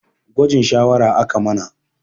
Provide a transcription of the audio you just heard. Gwajin shawara aka mana